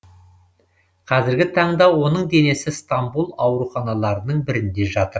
қазіргі таңда оның денесі стамбул ауруханаларының бірінде жатыр